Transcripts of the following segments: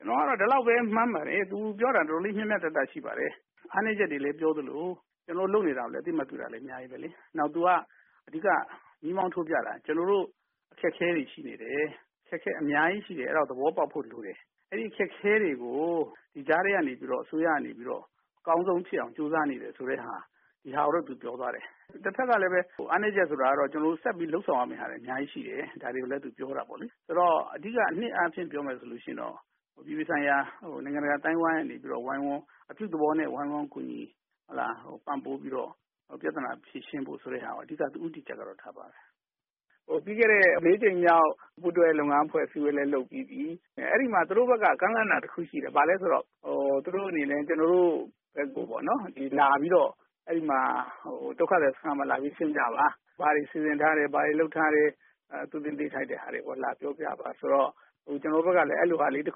ကျနော်ကတော့ ဒီလောက်ပဲမှန်းပါတယ်။ သူပြောတာ တော်တော်လေး မျှမျှတတရှိပါတယ်။ အားနည်းချက်တွေလည်းပြောသလို ကျနော်တို့ လုပ်နေတာတွေကိုလည်း အသိအမှတ်ပြုတာလည်း အများကြီးပဲလေ။ နောက်သူက အဓိက မီးမှောင်းထိုးပြတာက ကျနော်တို့ အခက်အခဲတွေအများကြီးရှိတယ် အဲဒါ သဘောပေါက်ဖို့လိုတယ်။ အဲဒီအခက်အခဲတွေကို ကြားထဲကနေ အစိုးရကနေပြီးတော့ အကောင်းဆုံးဖြစ်အောင်ကြိုးစားနေတယ်ဆိုတာ ဒါကိုတော့ သူပြောသွားတယ်။ တဖက်ကလည်း အားနည်းချက်ဆိုတာကတော့ ကျနော်တို့ ဆက်ပြီးတော့ လုပ်ဆောင်ရမယ့်ဟာတွေ အများကြီးရှိတယ် ဒါတွေကိုလည်း သူပြောတာပေါ့လေ။ ဆိုတော့ အဓိကအားဖြင့် ပြောမယ်ဆိုရင် အပြည်ပြည်ဆိုင်ရာ နိုင်ငံတကာအသိုင်းအဝိုင်းကနေပြီးတော့အပြုသဘောပဲ ဝိုင်းဝန်း ကူညီပြီးတော့ ပြဿနာဖြေရှင်းဖို့ဆိုတာကို အဓိက ဦးတည်ချက်ထားပါတယ်။ ပြီးခဲ့တဲ့ ၄ ကြိမ်မြောက် ပူးတွဲလုပ်ငန်းဖွဲ့အစည်းအဝေးလည်းလုပ်ပြီးပြီ။ အဲဒီမှာ သူတို့ဘက်က ကမ်းလှမ်းတာ တခုရှိတယ် ဘာလဲဆိုတော့ သူတို့အနေနဲ့ ကျနော်တို့ ဘက်ကို လာပြီးတော့ ဒုက္ခသည်စခန်းမှာ လာပြီး ကွင်းဆင်းကြပါ။ ဘာတွေစီစဉ်ထားတယ်၊ ဘာတွေလုပ်ထားတယ် သိသင့်သိထိုက်တာတွေကို လာပြောပြပါ။ ဆိုတော့ ကျနော်တို့ဘက်ကလည်း အဲလိုဟာလည်း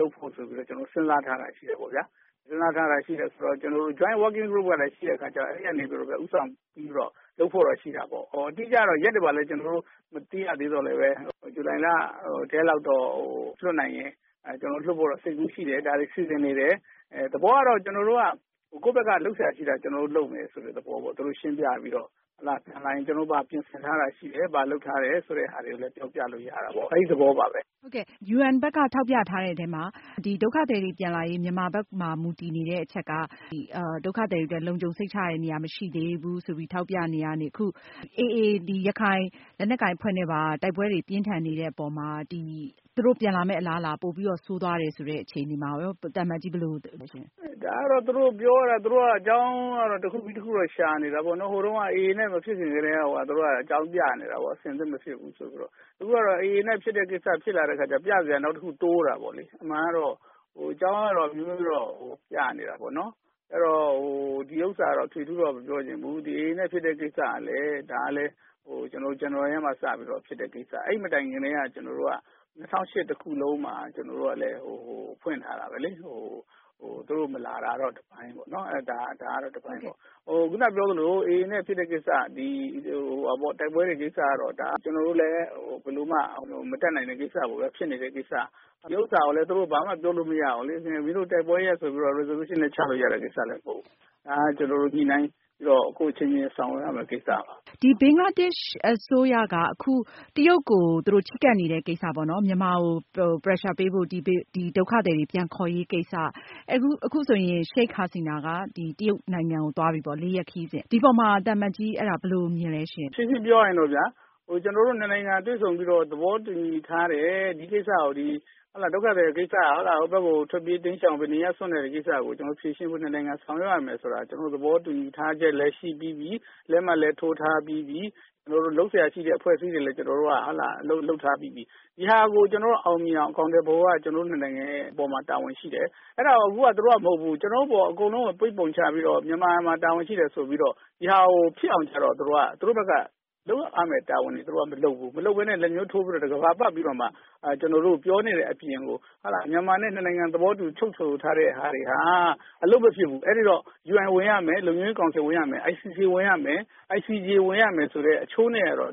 လုပ်ဖို့ဆိုပြီးတော့ ကျနော်စဉ်းစားထားတာရှိတယ်ပေါ့ဗျာ။ ကျနော်တို့ Joint Working Group ကလည်း ရှိတဲ့အခါကျတော့ အဲဒီကနေပြီးတော့ ဦးဆောင်ပြီးတော့ လုပ်ဖို့တော့ ရှိတာပေါ့။ အတိအကျကတော့ ရက်တွေဘာတွေ မသိရသော်လည်း ဇူလိုင်လထဲလောက်တော့ လွှတ်ဖို့အတွက် ကျနော်တို့ စိတ်ကူးရှိတယ်။ ဒါတွေ စီစဉ်နေတယ် သဘောကတော့ ကျနော်တို့ကတော့ ကိုယ့်ဘက်က လုပ်စရာရှိတာကို ကျနော်တို့ လုပ်မယ် ဆိုတဲ့သဘောပေါ့ သူတို့ကို ရှင်းပြပြီးတော့ ကျနော်တို့ ဘာတွေပြင်ဆင်ထားတာရှိတယ်၊ ဘာတွေလုပ်ထားတာရှိတယ် ဆိုတာလည်း ပြောပြလို့ရတာပေါ့ အဲဒီသဘောပါပဲ။ ဟုတ်ကဲ့ UN ဘက်က ထောက်ပြထားတဲ့အထဲမှာ ဒုက္ခသည်တွေ ပြန်လာရေး မြန်မာဘက်မှာ မူတည်နေတဲ့အချက်က ဒုက္ခသည်တွေ အတွက် လုံခြုံစိတ်ချရတဲ့နေရာ မရှိသေးဘူးဆိုပြီးတော့ ထောက်ပြနေတာကနေ အခု AA ရခိုင်လက်နက်ကိုင်အဖွဲ့နဲ့ပါ တိုက်ပွဲတွေပြင်းထန်နေတဲ့အပေါ်မှာ သူတို့ပြန်လာမယ့်အလားအလာ ပိုပြီးတော့ ဆိုးသွားတယ်ဆိုတဲ့အခြေအနေမှာရော သံအမတ်ကြီးဘယ်လိုမြင်ပါသလဲ။ ဒါကတော့ သူတို့ကတော့ အကြောင်းတခုပြီးတခု ရှာနေတာပေါ့နော်။ ဟိုတုန်းက AA နဲ့ မဖြစ်ခင်ကတည်းက အကြောင်းပြနေတာပေါ့နော်။ အဆင်သင့်မဖြစ်ဘူးဆိုပြီးတော့။ အခုကတော့ AA နဲ့ ဖြစ်တဲ့ကိစ္စပေါ်လာတော့ ပြစရာနောက်တခု တိုးလာတာပေါ့နော်။ အမှန်ကတော့ အကြောင်းအမျိုးမျိုးပြနေတာပေါ့နော်။ အဲဒီတော့ ဒီဟာကို ထွေထွေထူးထူးမပြောချင်ဘူး။ AA နဲ့ ဖြစ်တာကလည်း ဇန်နဝါရီထဲမှာ ဖြစ်တဲ့ကိစ္စ အဲဒီမတိုင်ခင် ကျနော်တို့က ၂၀၁၈ တခုလုံးမှာ ဖွင့်ထားတာပဲလေ။ သူတို့မလာတာကတော့ တပိုင်းပေါ့နော်။ ခုနပြောသလို AA နဲ့ ဖြစ်တဲ့ကိစ္စ တိုက်ပွဲတွေဖြစ်တဲ့ကိစ္စကလည်း ဒါက ကျနော်တို့ ဘယ်လိုမှ မတတ်နိုင်တဲ့ကိစ္စ ဖြစ်နေတဲ့ ကိစ္စ ဒါကိုလည်း သူတို့ ဘာမှ မပြောလို့မရဘူးလေ။ မင်းတို့တိုက်ပွဲရပ်ဆိုပြီးတော့ Resolution လည်းချလို့ရတဲ့ ကိစ္စမဟုတ်ဘူး။ ဒါက ကျနော်တို့ ညှိနှိုင်းပြီးတော့ ကိုယ့်အချင်းချင်းဆောင်ရွက်ရမယ့်ကိစ္စပါ။ ဘင်္ဂလားဒေ့ရှ်အစိုးရက အခု တရုတ်ကို ချဉ်းကပ်နေတဲ့ ကိစ္စပေါ့နော်။ မြန်မာကို pressure ပေးဖို့ ဒုက္ခသည်တွေပြန်ခေါ်ရေးကိစ္စမှာ အခုဆိုရင် Sheikh Hasina က တရုတ်ကိုသွားပြီပေါ့လေ ၄ ရက်ခရီးစဉ်။ ဒီအပေါ်မှာ သံအမတ်ကြီးဘယ်လိုမြင်ပါသလဲ။ ရှင်းရှင်းပြောရရင် ကျနော်တို့ ၂ နိုင်ငံတွေ့ဆုံပြီးတော့ သဘောတူညီထားတဲ့ ဒုက္ခသည်ကိစ္စကို ဖြေရှင်းဖို့ ၂ နိုင်ငံ ဆောင်ရွက်ရမယ်ဆိုတာ သဘောတူညီထားချက်လည်း ရှိပြီးပြီ။ လက်မှတ်လည်း ထိုးထားပြီးပြီ။ ကျနော်တို့လုပ်စရာရှိတဲ့ အဖွဲ့အစည်းတွေနဲ့လည်း အလုပ်လုပ်ထားပြီးပြီ။ ဒါကို အောင်မြင်အောင် အကောင်အထည်ဖော်နိုင်ဖို့က ကျနော်တို့ ၂ နိုင်ငံအပေါ်မှာ တာဝန်ရှိတယ်။ အဲဒါကို သူတို့က မဟုတ်ဘူး ကျနော်တို့အပေါ် အကုန်လုံး အပြစ်ပုံချပြီးတော့ မြန်မာမှာတာဝန်ရှိတယ်ဆိုတာကို ဒါကိုဖြစ်အောင် သူတို့ဘက်က လုပ်ရမယ့်တာဝန်တွေကို သူတို့မလုပ်ဘူး။ မလုပ်ပဲနဲ့ လက်ညှိးထိုးပြီးတော့ ကမ္ဘာပတ်ပြီးတော့မှ ပြောနေတဲ့အပြင် မြန်မာနဲ့ ၂ နိုင်ငံ သဘောတူချုပ်ဆိုထားတာတွေက အလုပ်မဖြစ်ဘူး အဲဒီတော့ UNဝင်ရမယ်၊ လုံခြုံရေးကောင်စီ ဝင်ရမယ်၊ ICC ဝင်ရမယ် ICJ ဝင်ရမယ်ဆိုတဲ့ အချိုးနဲ့တော့